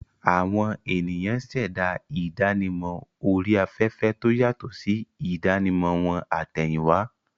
Àwọn ènìyàn ṣẹ̀dá ìdánimọ̀ orí afẹ́fẹ́ tó yàtọ̀ sí ìdánimọ̀ wọn àtẹ̀yìnwá.